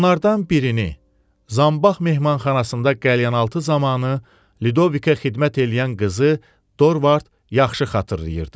Onlardan birini, Zambağ mehmanxanasında qəlyanaltı zamanı Lidovika xidmət eləyən qızı Dorvard yaxşı xatırlayırdı.